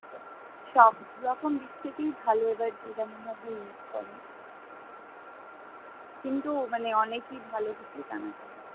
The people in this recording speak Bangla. সব রকম দিক থেকে ভালো এবার যে যেমন ভাবে use করে কিন্তু মানে অনেকে ভালো কিছুই জানা যায়।